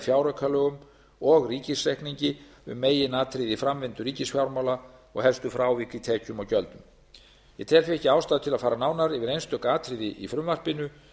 fjáraukalögum og ríkisreikningi um meginatriði í framvindu ríkisfjármála og helstu frávik í tekjum og gjöldum ég tel því ekki ástæðu til að fara nánar yfir einstök atriði í frumvarpinu